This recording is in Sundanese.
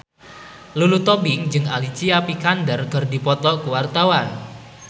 Lulu Tobing jeung Alicia Vikander keur dipoto ku wartawan